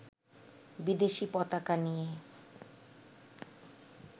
বিদেশী পতাকা নিয়ে